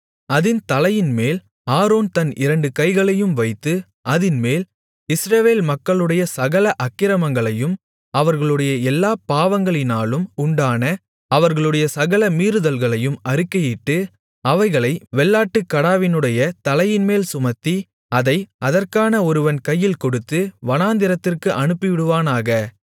அதின் தலையின்மேல் ஆரோன் தன் இரண்டு கைகளையும் வைத்து அதின்மேல் இஸ்ரவேல் மக்களுடைய சகல அக்கிரமங்களையும் அவர்களுடைய எல்லாப் பாவங்களினாலும் உண்டான அவர்களுடைய சகல மீறுதல்களையும் அறிக்கையிட்டு அவைகளை வெள்ளாட்டுக்கடாவினுடைய தலையின்மேல் சுமத்தி அதை அதற்கான ஒருவன் கையில் கொடுத்து வனாந்திரத்திற்கு அனுப்பிவிடுவானாக